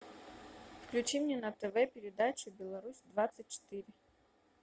включи мне на тв передачу беларусь двадцать четыре